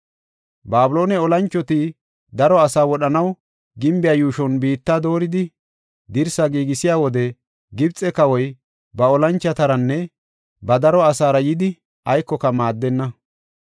Babiloone olanchoti daro asaa wodhanaw gimbiya yuushon biitta dooridi dirsi giigisiya wode, Gibxe kawoy ba olanchotaranne ba daro asaara yidi aykoka maaddenna.